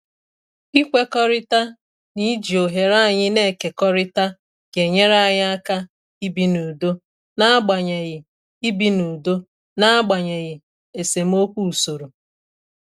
Ịkwekọrịta n'iji oghere anyị na-ekekọrịta ga-enyere anyị aka ibi n'udo n'agbanyeghị ibi n'udo n'agbanyeghị esemokwu usoro.